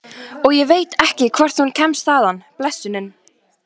Og ég veit ekki hvort hún kemst þaðan, blessunin.